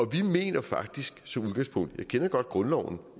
vi mener faktisk som udgangspunkt jeg kender godt grundloven